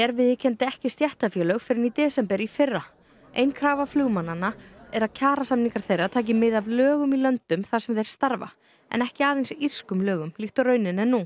viðurkenndi ekki stéttarfélög fyrr en í desember í fyrra ein krafa flugmannanna er að kjarasamningar þeirra taki mið af lögum í löndunum þar sem þeir starfa ekki aðeins írskum lögum líkt og raunin er nú